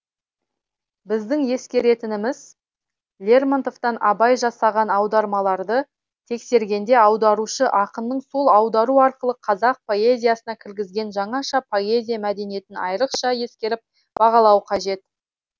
біздің ескеретініміз лермонтовтан абай жасаған аудармаларды тексергенде аударушы ақынның сол аудару арқылы қазақ поэзиясына кіргізген жаңаша поэзия мәдениетін айрықша ескеріп бағалау қажет